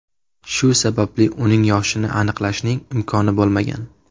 Shu sababli uning yoshini aniqlashning imkoni bo‘lmagan.